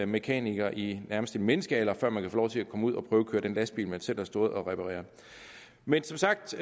mekaniker i nærmest en menneskealder før man kan få lov til at komme ud at prøvekøre den lastbil man selv har stået og repareret men som sagt